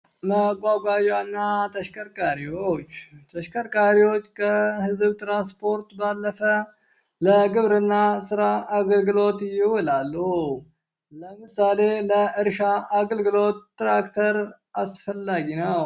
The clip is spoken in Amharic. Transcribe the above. መጓጓዣ እና ተሽከርካሪዎች ተሽከርካሪዎች ከህዝብ ትራንስፖርት ባለፈ ለግብርና ስራ አገልግሎት ይውላሉ ለምሳሌ ለእርሻ አገልግሎት ትራክተር አስፈለጊ ነው